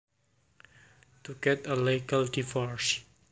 To get a legal divorce